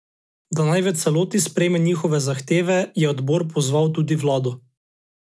Da naj v celoti sprejme njihove zahteve, je odbor pozval tudi vlado.